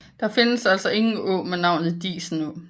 Der findes altså ingen å med navnet Disenå